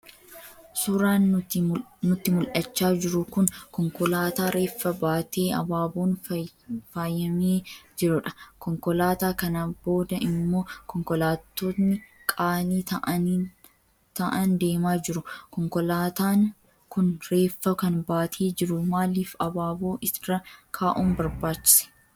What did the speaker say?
Suuraan nutti mul'achaa jiru kun konkolaataa reeffa baatee abaaboon faayyamee jirudha. Konkolaataa kana booda immoo konkolaattonni qaalii ta'aan deemaa jiru. Konkolaataan kun reeffa kan baatee jiru maaliif abaaboo irra kaa'uun barbaachise?